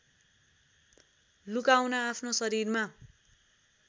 लुकाउन आफ्नो शरीरमा